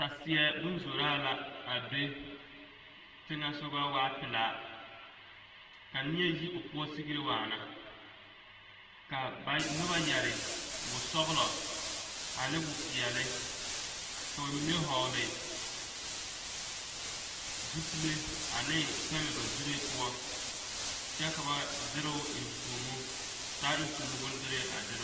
Saseɛ boŋ zoraa la teŋɛ sɔga ka neɛ yi o poɔ Sucre waana ka noba yɛre boŋ ane wopeɛle ka ba mine vɔgle zupile ane pɛmɛ ba zure poɔ kyɛ ka ba derɛ o enfuomo taa enfuomo bondere a derɛ.